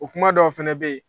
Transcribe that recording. O kuma dɔw fana bɛ yen